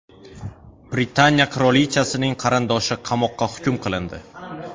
Britaniya qirolichasining qarindoshi qamoqqa hukm qilindi.